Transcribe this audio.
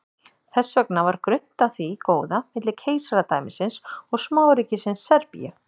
þess vegna var grunnt á því góða milli keisaradæmisins og smáríkisins serbíu